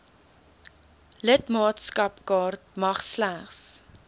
lidmaatskapkaart mag slegs